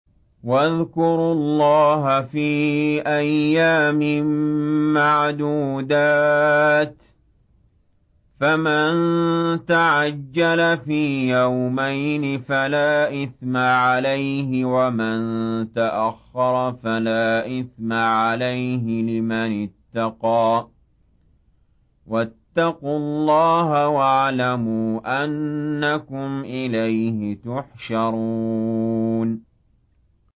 ۞ وَاذْكُرُوا اللَّهَ فِي أَيَّامٍ مَّعْدُودَاتٍ ۚ فَمَن تَعَجَّلَ فِي يَوْمَيْنِ فَلَا إِثْمَ عَلَيْهِ وَمَن تَأَخَّرَ فَلَا إِثْمَ عَلَيْهِ ۚ لِمَنِ اتَّقَىٰ ۗ وَاتَّقُوا اللَّهَ وَاعْلَمُوا أَنَّكُمْ إِلَيْهِ تُحْشَرُونَ